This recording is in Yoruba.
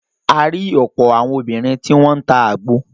A rí ọ̀pọ̀ àwọn obìnrin tí wọ́n n ta àgbo.